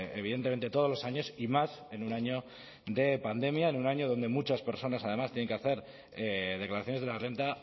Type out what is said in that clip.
evidentemente todos los años y más en un año de pandemia en un año donde muchas personas además tienen que hacer declaraciones de la renta